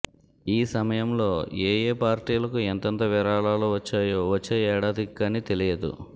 ఈ సమయంలో ఏ యే పార్టీలకు ఎంతెంత విరాళాలు వచ్చాయో వచ్చే ఏడాదికి కానీ తెలియదు